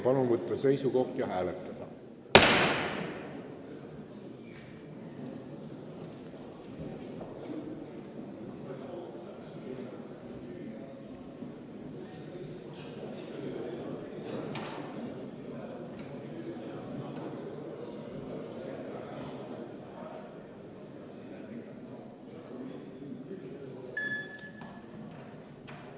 Palun võtta seisukoht ja hääletada!